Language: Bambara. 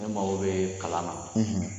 Ne mako be kalan na